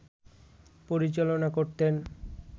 পরিচালনা করতেন